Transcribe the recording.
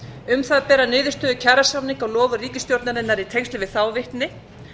um það bera niðurstöður kjarasamninga og loforð ríkisstjórnarinnar í tengslum við þá vitni